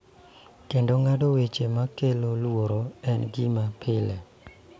Kendo ng�ado weche ma kelo luoro en gima pile.